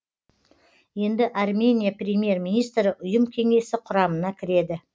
енді армения премьер министрі ұйым кеңесі құрамына кіреді